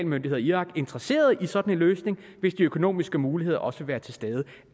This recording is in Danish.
myndigheder i irak interesserede i sådan en løsning hvis de økonomiske muligheder også vil være til stede